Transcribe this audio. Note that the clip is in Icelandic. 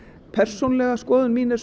persónulega skoðun mín er